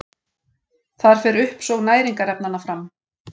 Þar fer uppsog næringarefnanna fram.